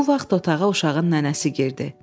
Bu vaxt otağa uşağın nənəsi girdi.